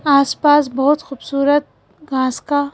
आसपास बहुत ख़ूबसूरत घास का--